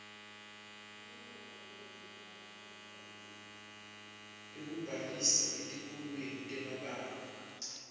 ekubhalisa etikolweni temabanga